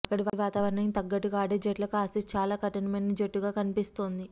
అక్కడి వాతావరణానికి తగ్గట్టుగా ఆడే జట్లకు ఆసీస్ చాలా కఠినమైన జట్టుగా కనిపిస్తోంది